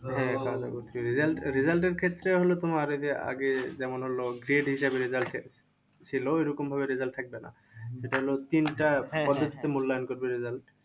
হ্যাঁ খাওয়া দাওয়া করছি। result result এর ক্ষেত্রে হলো তোমার এই যে, আগে যেমন হলো grade হিসাবে result ছিল ঐরকম ভাবে থাকবে আরকি। যেটা হলো তিনটা পদ্ধতিতে মূল্যায়ন করবে result.